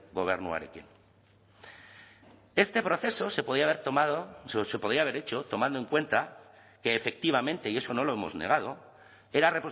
gobernuarekin este proceso se podía haber tomado se podía haber hecho tomando en cuenta que efectivamente y eso no lo hemos negado era